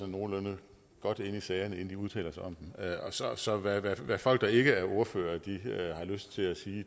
nogenlunde godt inde i sagerne inden de udtaler sig om dem så hvad hvad folk der ikke er ordførere har lyst til at sige